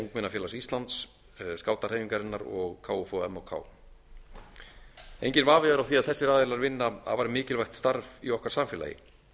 ungmennafélags íslands skátahreyfingarinnar og kfum og kfuk enginn vafi er á því að þessir aðilar vinna afar mikilvægt starf í okkar samfélagi